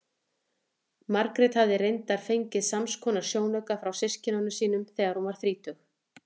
Margrét hafði reyndar fengið samskonar sjónauka frá systkinum sínum þegar hún varð þrítug.